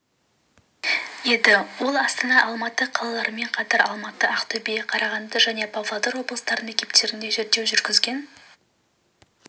еді ал астана алматы қалаларымен қатар алматы ақтөбе қарағанды және павлодар облыстарының мектептерінде зерттеу жүргізген